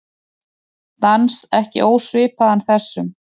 Dans ekki ósvipaðan þessum.